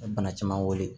Bana caman weele